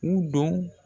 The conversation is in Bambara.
U don